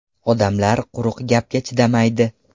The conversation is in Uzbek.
Odamlar quruq gapga chidamaydi.